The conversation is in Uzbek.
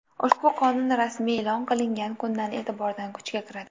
Ushbu qonun rasmiy e’lon qilingan kundan e’tibordan kuchga kiradi.